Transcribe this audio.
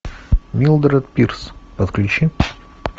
милдред пирс подключи